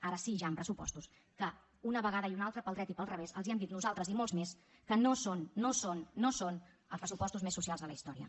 ara sí ja en pressupostos que una vegada i una altra pel dret i pel revés els hem dit nosaltres i molts més que no són no són no són els pressupostos més socials de la història